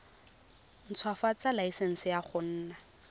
ntshwafatsa laesense ya go nna